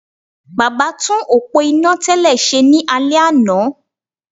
Baba tún òpó iná tẹ́lẹ̀ ṣe ní alẹ́ àná